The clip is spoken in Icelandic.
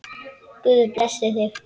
Guð blessi þig.